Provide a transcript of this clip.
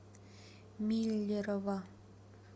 миллерово